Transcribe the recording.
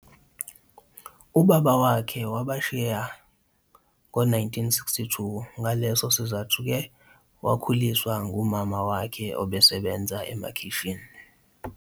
Ubaba wakhe wabashiya nge-1962 ngaleso sizathu-ke wakhuliswa ngumama wakhe obesebenza emakhishini.